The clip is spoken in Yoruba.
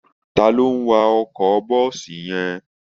Ta ló ń wa ọkọ bọ́ọ̀sì yẹn